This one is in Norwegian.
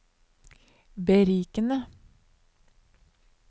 berikende